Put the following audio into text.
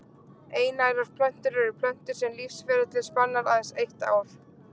Einærar plöntur eru plöntur sem lífsferillinn spannar aðeins eitt ár.